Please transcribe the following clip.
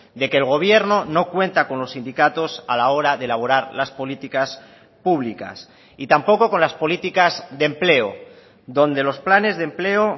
de que el gobierno no cuenta con los sindicatos a la hora de elaborar las políticas públicas y tampoco con las políticas de empleo donde los planes de empleo